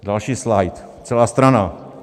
Další slajd, celá strana.